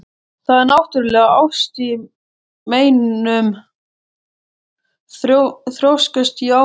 Það er náttúrlega ást í meinum, þrjóskast ég áfram.